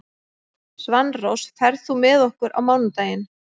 Svanrós, ferð þú með okkur á mánudaginn?